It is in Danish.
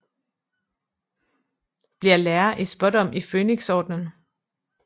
Bliver lærer i Spådom i Fønixordenen